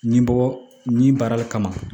Nin bɔ ni baara le kama